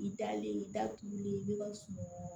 I dalen i da tugulen i bɛ ka